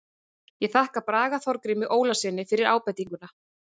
Ég þakka Braga Þorgrími Ólafssyni fyrir ábendinguna.